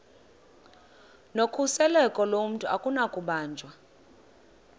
nokhuseleko lomntu akunakubanjwa